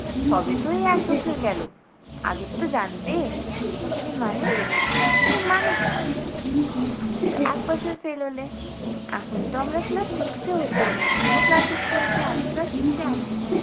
সবে তো এই এক বছর গেলো আগের তো জানতে। বলে মানে? বলে মানে কী? তুমি তো এক বছর fail হলে এখন তো আমরা class six এ হতাম তুমিও class six এ হতে আমি class six আছি।